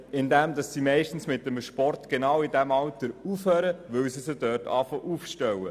Man sieht dies auch dem Freizeitverhalten der Lernenden an.